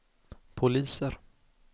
poliser